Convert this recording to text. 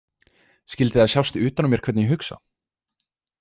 Skyldi það sjást utan á mér hvernig ég hugsa?